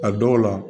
A dɔw la